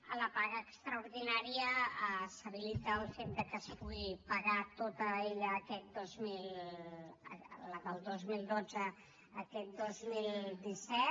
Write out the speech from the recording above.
en la paga extraordinària s’habilita el fet de que es pugui pagar tota ella la del dos mil dotze aquest dos mil disset